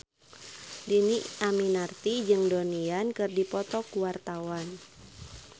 Dhini Aminarti jeung Donnie Yan keur dipoto ku wartawan